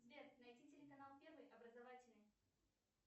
сбер найди телеканал первый образовательный